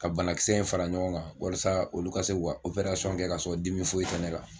Ka banakisɛ in fara ɲɔgɔn kan walasa olu ka se k'o ka kɛ ka sɔrɔ dimi foyi tɛ ne la.